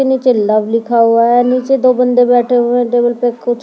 के नीचे लव लिखा हुआ है नीचे दो बंदे बैठे हुए हैं टेबल पे कुछ--